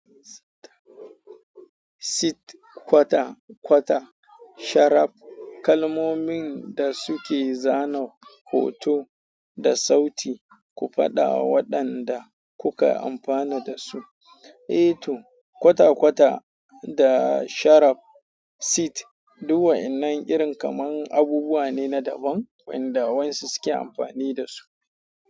Sit, kwata kwata, sharaf. Kalmomin da suke zana hoto da sauti. Ku faɗa waɗanda kuka amfana dasu. Eh to, kwata kwata da sharaf, sit duk wayannan irin kamar abubuwa ne na daban waɗanda wayansu suke amfani da su.